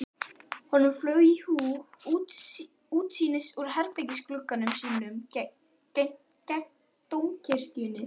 Honum flaug í hug útsýnið úr herbergisglugga sínum gegnt Dómkirkjunni.